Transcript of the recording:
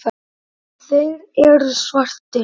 Þeir eru svartir.